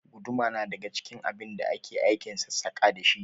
Guduma na daga cikin abin da ake aikin sassaƙa dashi